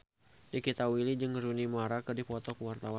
Nikita Willy jeung Rooney Mara keur dipoto ku wartawan